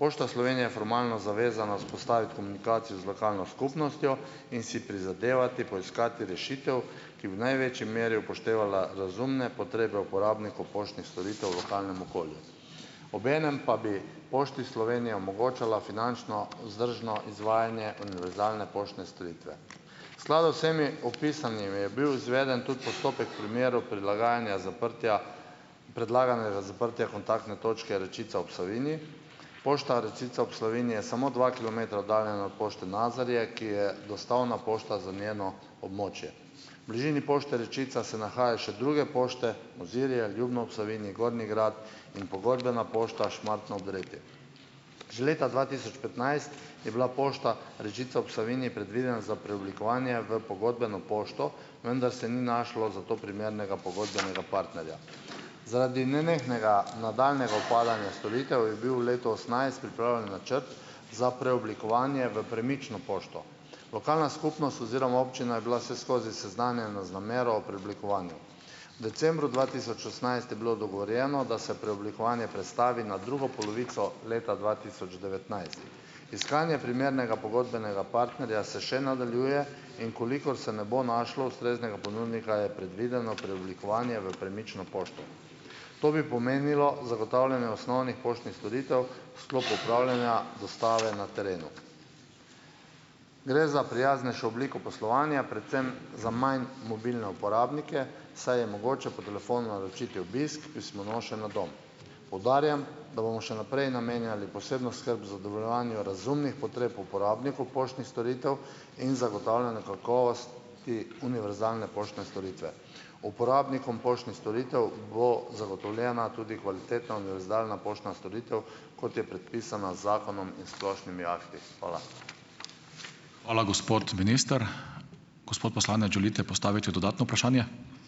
Pošta Slovenije je formalno zavezana vzpostaviti komunikacijo z lokalno skupnostjo in si prizadevati poiskati rešitev, ki bi v največji meri upoštevala razumne potrebe uporabnikov poštnih storitev v lokalnem okolju. Obenem pa bi Pošti Slovenije omogočala finančno vzdržno izvajanje univerzalne poštne storitve. V skladu s vsemi opisanimi je bil izveden tudi postopek primerov prilagajanja zaprtja, predlaganega zaprtja kontaktne točke Rečica ob Savinji. Pošta Rečica ob Savinji je samo dva kilometra oddaljena od pošte Nazarje, ki je dostavna pošta za njeno območje. V bližini pošti Rečica se nahajajo še druge pošte, Mozirje, Ljubno ob Savinji, Gornji Grad in pogodbena pošta Šmartno ob Dreti. Že leta dva tisoč petnajst je bila pošta Rečica ob Savinji predvidena za preoblikovanje v pogodbeno pošto, vendar se ni našlo za to primernega pogodbenega partnerja. Zaradi nenehnega nadaljnjega upadanja storitev je bil v letu osemnajst pripravljen načrt za preoblikovanje v premično pošto. Lokalna skupnost oziroma občina je bila vseskozi seznanjena za namero o preoblikovanju. V decembru dva tisoč osemnajst je bilo dogovorjeno, da se preoblikovanje prestavi na drugo polovico leta dva tisoč devetnajst. Iskanje primernega pogodbenega partnerja se še nadaljuje. In v kolikor se ne bo našlo ustreznega ponudnika, je predvideno preoblikovanje v premično pošto. To bi pomenilo zagotavljanje osnovnih poštnih storitev v sklopu upravljanja, dostave na terenu. Gre za prijaznejšo obliko poslovanja, predvsem za manj mobilne uporabnike, saj je mogoče po telefonu naročiti obisk pismonoše na dom. Poudarjam, da bomo še naprej namenjali posebno skrb zadovoljevanju razumnih potreb uporabnikov poštnih storitev in zagotavljanju kakovos- ti univerzalne poštne storitve. Uporabnikom poštnih storitev bo zagotovljena tudi kvalitetna univerzalna poštna storitev, kot je predpisana z zakonom in splošnimi akti. Hvala.